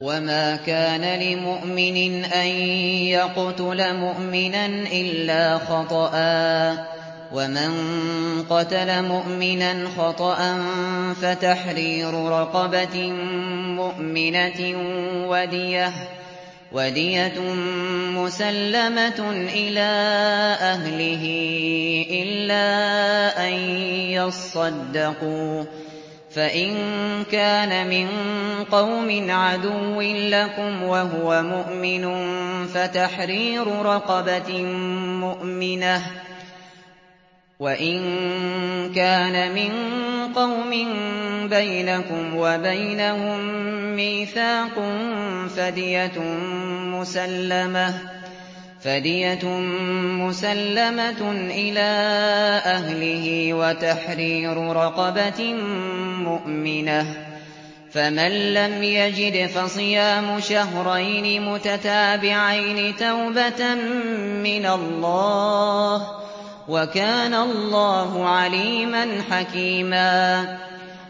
وَمَا كَانَ لِمُؤْمِنٍ أَن يَقْتُلَ مُؤْمِنًا إِلَّا خَطَأً ۚ وَمَن قَتَلَ مُؤْمِنًا خَطَأً فَتَحْرِيرُ رَقَبَةٍ مُّؤْمِنَةٍ وَدِيَةٌ مُّسَلَّمَةٌ إِلَىٰ أَهْلِهِ إِلَّا أَن يَصَّدَّقُوا ۚ فَإِن كَانَ مِن قَوْمٍ عَدُوٍّ لَّكُمْ وَهُوَ مُؤْمِنٌ فَتَحْرِيرُ رَقَبَةٍ مُّؤْمِنَةٍ ۖ وَإِن كَانَ مِن قَوْمٍ بَيْنَكُمْ وَبَيْنَهُم مِّيثَاقٌ فَدِيَةٌ مُّسَلَّمَةٌ إِلَىٰ أَهْلِهِ وَتَحْرِيرُ رَقَبَةٍ مُّؤْمِنَةٍ ۖ فَمَن لَّمْ يَجِدْ فَصِيَامُ شَهْرَيْنِ مُتَتَابِعَيْنِ تَوْبَةً مِّنَ اللَّهِ ۗ وَكَانَ اللَّهُ عَلِيمًا حَكِيمًا